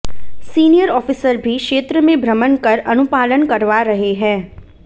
senior officer भी क्षेत्र में भ्रमण कर अनुपालन करवा रहे हैं